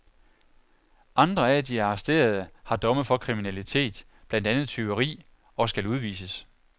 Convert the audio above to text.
Andre af de arresterede har domme for kriminalitet, blandt andet tyveri, og skal udvises.